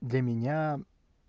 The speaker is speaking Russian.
для меня